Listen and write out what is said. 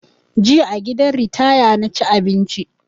Jiya a gidan ritaya na ci abinci